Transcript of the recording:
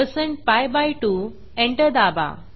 160 पीआय2 एंटर दाबा